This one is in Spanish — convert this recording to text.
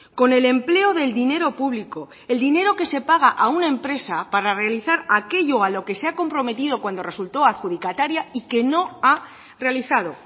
con el empleo del dinero público el dinero que se paga a una empresa para realizar aquello a lo que se ha comprometido cuando resultó adjudicataria y que no ha realizado